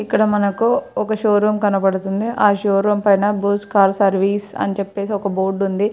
ఇక్కడ మనకు ఒక షో రూమ్ కనబడుతుంది. ఆ షో రూమ్ పైన సర్వీస్ అని చెప్పేసి ఒక బోర్డు ఉంది.